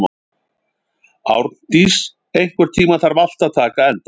Árndís, einhvern tímann þarf allt að taka enda.